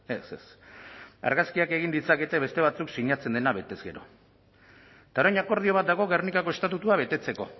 ez ez argazkiak egin ditzakete beste batzuek sinatzen dena betez gero eta orain akordio bat dago gernikako estatutua betetzeko